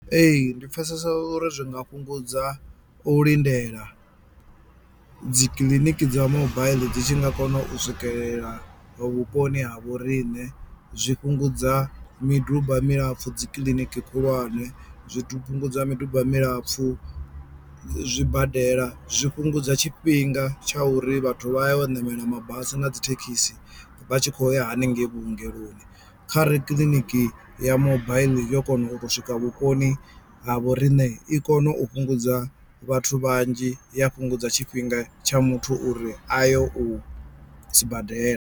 Ee ndi pfesesa uri zwi nga fhungudza u lindela dzikiḽiniki dza mobaiḽi dzi tshi nga kona u swikelela vhuponi ha vhoriṋe zwi fhungudza miduba milapfu dzikiḽiniki khulwane, zwi fhungudza miduba milapfu zwibadela, zwi fhungudza tshifhinga tsha uri vhathu vha yo u ṋamela mabasi na dzi thekhisi vha tshi khou ya haningei vhuongeloni kharali kiḽiniki ya mobaiḽi arali yo kona u to swika vhuponi ha vhoriṋe i kono u fhungudza vhathu vhanzhi ya fhungudza tshifhinga tsha muthu uri a ye u sibadela.